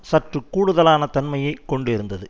சற்று கூடுதலான தன்மையை கொண்டிருந்தது